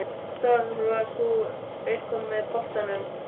Starfar þú eitthvað með boltanum?